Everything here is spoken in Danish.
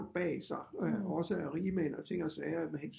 Bag sig også af rigmænd og ting og sager